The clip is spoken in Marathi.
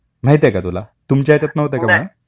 माहिती आहे का तुला? तुमच्या ह्याच्यात नव्हते का म्हणत?